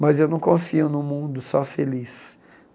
Mas eu não confio num mundo só feliz.